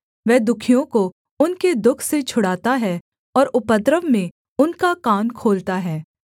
वह दुःखियों को उनके दुःख से छुड़ाता है और उपद्रव में उनका कान खोलता है